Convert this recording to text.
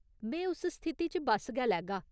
में उस स्थिति च बस्स गै लैगा।